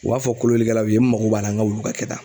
U b'a fɔ kolonlikɛlaw ye, n mago b'a la n ka wulu ka kɛ tan.